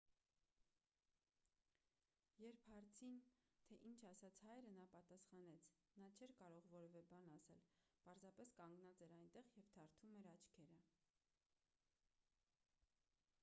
երբ հարցին թե ինչ ասաց հայրը նա պատասխանեց նա չէր կարող որևէ բան ասել պարզապես կանգնած էր այնտեղ և թարթում էր աչքերը